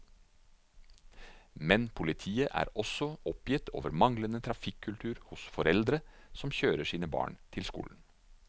Men politiet er også oppgitt over manglende trafikkultur hos foreldre som kjører sine barn til skole.